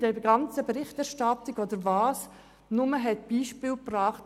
In der gesamten Berichterstattung wurden nur Beispiele gebracht.